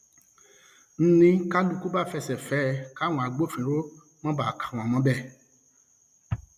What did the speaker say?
n ní kálukú bá fẹsẹ fẹ ẹ káwọn agbófinró má bàa kà wọn mọbẹ